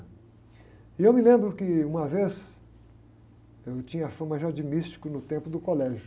E eu me lembro que uma vez eu tinha a fama já de místico no tempo do colégio.